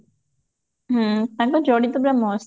ହୁଁ ତାଙ୍କ ଯୋଡି ତ ପୁରା mast